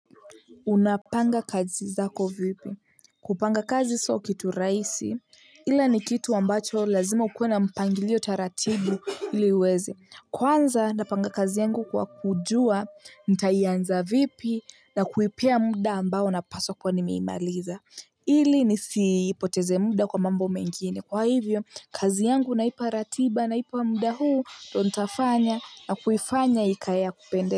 Unapanga kazi zako vipi, kupanga kazi so kitu raisi ila ni kitu ambacho lazima ukuwe na mpangilio taratibu ili uweze. Kwanza napanga kazi yangu kwa kujua nitaianza vipi na kuipea muda ambao na paswa kuwa nimeimaliza. Ili nisipoteze muda kwa mambo mengine kwa hivyo kazi yangu naipa ratiba naipa muda huu ndo ntafanya na kuifanya ikaye ya kupende.